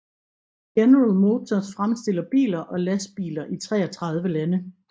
General Motors fremstiller biler og lastbiler i 33 lande